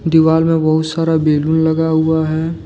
दिवाल में बहुत सारा बैलून लगा हुआ है।